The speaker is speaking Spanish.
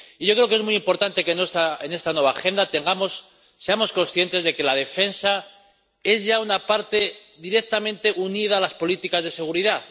Y yo creo que es muy importante que en esta nueva agenda seamos conscientes de que la defensa es ya una parte directamente unida a las políticas de seguridad.